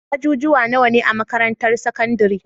ajujuwa nawa ne a makarantar sakandari?